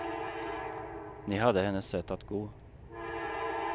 Ni hade hennes sätt att gå.